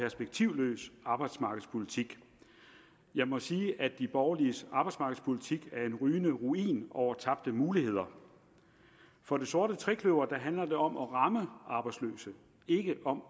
perspektivløs arbejdsmarkedspolitik jeg må sige at de borgerliges arbejdsmarkedspolitik er en rygende ruin over tabte muligheder for det sorte trekløver handler det om at ramme arbejdsløse ikke om